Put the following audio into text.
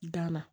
Dan na